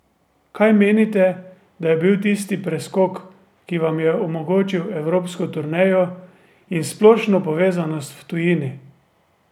Kaj menite, da je bil tisti preskok, ki vam je omogočil evropsko turnejo in splošno prepoznavnost v tujini?